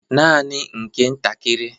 Nanị nke ntakịrị